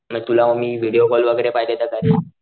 म तुला मी व्हिडीओ कॉल वैगेरे पाहिजे तर करेल.